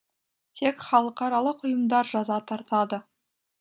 тек халықаралық ұйымдар жаза тартады